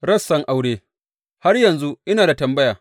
Rassan aure Har yanzu ina da tambaya.